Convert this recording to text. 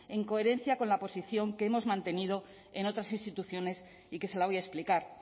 en coherencia con la posición que hemos mantenido en otras instituciones y que se la voy a explicar